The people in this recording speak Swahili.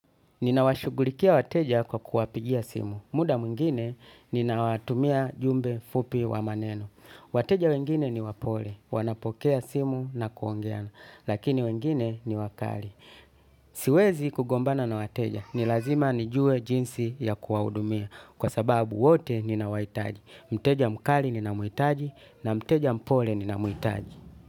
Nina washughulikia wateja kwa kuwapigia simu. Muda mwingine nina watumia jumbe fupi wa maneno. Wateja wengine ni wapole. Wanapokea simu na kuongea. Lakini wengine ni wakali. Siwezi kugombana na wateja. Nilazima nijue jinsi ya kuwahudumia. Kwa sababu wote ninawahitaji. Mteja mkali ninamuhitaji na mteja mpole ninamuhitaji.